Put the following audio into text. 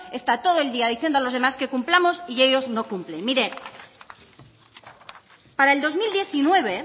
está todo el día diciendo a los demás que cumplamos y ellos no cumplen mire para el dos mil diecinueve